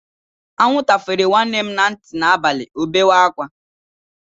Anwụnta fere nwanne m na ntị n'abalị, o bewe ákwá.